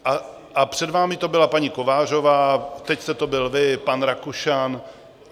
A před vámi to byla paní Kovářová, teď jste to byl vy, pan Rakušan.